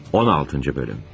16-cı bölüm.